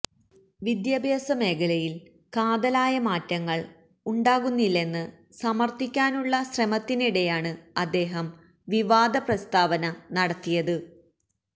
വിദ്യാഭ്യാസ മേഖലയിൽ കാതലായ മാറ്റങ്ങൾ ഉണ്ടാകുന്നില്ലെന്ന് സമർത്ഥിക്കാനുള്ള ശ്രമത്തിനിടെയാണ് അദ്ദേഹം വിവാദ പ്രസ്താവന നടത്തിയത്